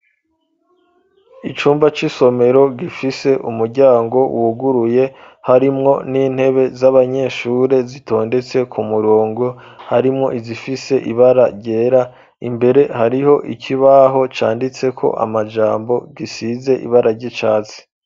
Icumba c'isomero gifise umuryango wuguruye, harimwo n'intebe z'abanyeshure zitondetse ku murongo, harimwo izifise ibara ryera, imbere hariho ikibaho canditseko amajambo, gisize ibara ry'icatsi.